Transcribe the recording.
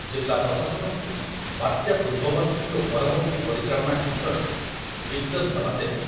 ଜିଲ୍ଲା ପ୍ରଶାସନକୁ ବାତ୍ୟା ପୂର୍ବବର୍ତ୍ତୀ ଓ ପରବର୍ତ୍ତୀ ପରିଚାଳନା କ୍ଷେତ୍ରରେ ଦିଗ୍‌ଦର୍ଶନ ଦେବେ ।